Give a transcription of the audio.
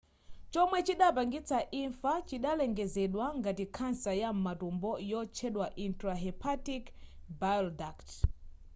chomwe chidapangitsa imfa chidalengezedwa ngati khansa ya m'matumbo yotchedwa intrahepatic bileduct